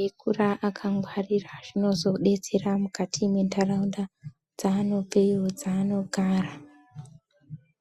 eikura akangwarira zvinozodetsera mukati mwendaraunda dzaanobve, dzaanogara.